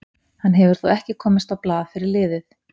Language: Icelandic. Hann hefur þó ekki komist á blað fyrir liðið.